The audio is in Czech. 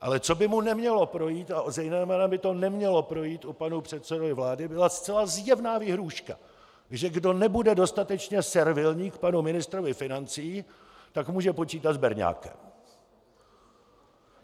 Ale co by mu nemělo projít, a zejména by to nemělo projít i panu předsedovi vlády, byla zcela zjevná výhrůžka, že kdo nebude dostatečně servilní k panu ministrovi financí, tak může počítat s berňákem.